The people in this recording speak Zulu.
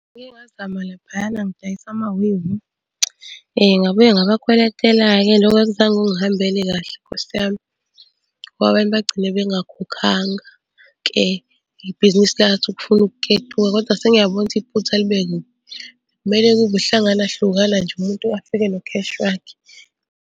Ngike ngazama laphayana ngidayisa , ngabuye ngabakweletela-ke loko akuzange kungihambele kahle Nkosi yami, ngoba abantu bagcine bengakhokhanga-ke. Ibhizinisi lathi ukufuna ukuketuka kodwa sengiyabona ukuthi iphutha libe kuphi. Kumele kube uhlangana hlukana nje umuntu afike nokheshi wakhe.